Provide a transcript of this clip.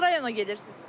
Hansı rayona gedirsiz?